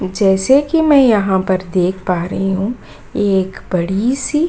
जैसे की मैं यहाँ पर देख पा रही हूं ये एक बड़ी सी --